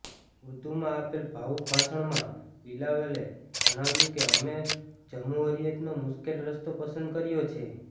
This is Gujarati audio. ઉર્દુમાં આપેલ ભાવુક ભાષણમાં બિલાવલે જણાવ્યું કે અમે જમ્હુરિયતનો મુશ્કેલ રસ્તો પસંદ કર્યો છે